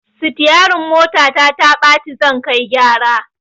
Sitiyarin motata taɓa ci zan kai gyara